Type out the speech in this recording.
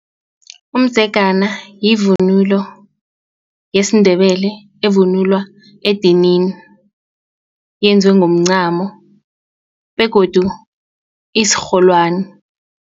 Umdzegana yivunulo yesiNdebele evunulwa edinini yenziwe ngomncamo begodu isirholwani.